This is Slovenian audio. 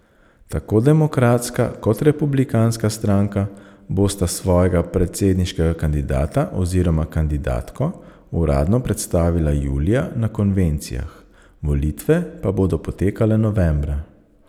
Tako Demokratska kot Republikanska stranka bosta svojega predsedniškega kandidata oziroma kandidatko uradno predstavila julija na konvencijah, volitve pa bodo potekale novembra.